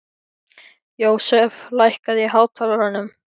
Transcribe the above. Jósef, lækkaðu í hátalaranum.